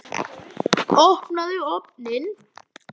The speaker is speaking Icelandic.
Opnaðu ofninn!